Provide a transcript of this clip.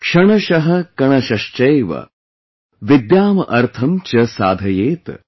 Kshanashah kanashashchaiva, vidyam artham cha saadhayet